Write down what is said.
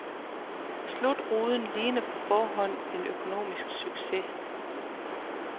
Slutruden ligner på forhånd en økonomisk succes.